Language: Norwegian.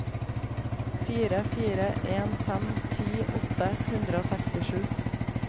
fire fire en fem ti åtte hundre og sekstisju